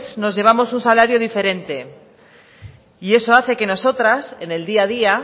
nos llevamos un salario diferente y eso hace que nosotras en el día a día